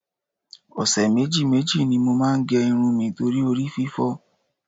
Ọ̀sẹ̀ méjì méjì ni mo máa ń gẹ irun mi torí orí fífọ́